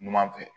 Numan fɛ